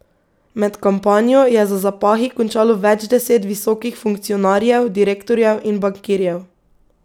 Med kampanjo je za zapahi končalo več deset visokih funkcionarjev, direktorjev in bankirjev.